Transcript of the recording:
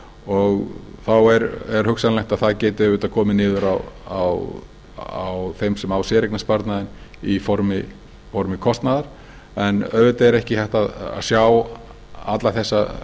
og þá er hugsanlegt að það geti komið niður á þeim sem á séreignarsparnaðinn í formi kostnaðar en auðvitað er ekki hægt að sjá alla þessa